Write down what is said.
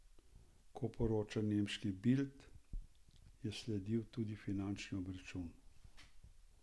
Ko poroča nemški Bild, je sledil tudi fizični obračun.